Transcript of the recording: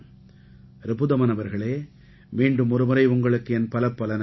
ரிபுதமன் அவர்களே மீண்டும் ஒருமுறை உங்களுக்கு என் பலப்பல நன்றிகள்